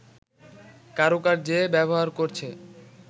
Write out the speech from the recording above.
কারুকার্যে ব্যবহার করছে